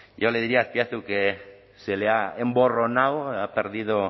yo le diría azpiazu que se le ha emborronado ha perdido